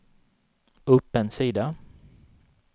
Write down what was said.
upp en sida